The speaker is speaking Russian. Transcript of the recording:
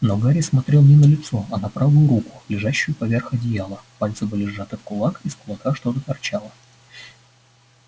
но гарри смотрел не на лицо а на правую руку лежащую поверх одеяла пальцы были сжаты в кулак из кулака что-то торчало